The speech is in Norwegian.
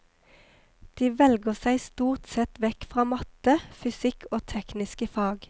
De velger seg stort sett vekk fra matte, fysikk og tekniske fag.